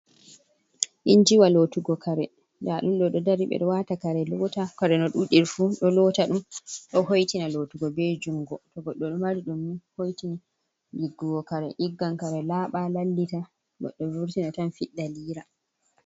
Injiwa lotugo kare dadunmdo dodari bedo wata kare, kare no dudirfu do lota dum do hoitina lotugo be jungo to goddo mari dum ni hoitini diggugo kare diggan kare laba lallita goddo vurtina tan fidda liira.